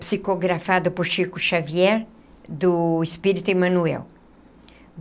psicografado por Chico Xavier, do Espírito Emanuel.